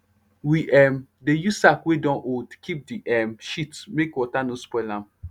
we um dey use sack wey don old keep the um shit make water no spoil am